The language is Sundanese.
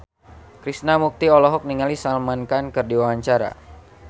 Krishna Mukti olohok ningali Salman Khan keur diwawancara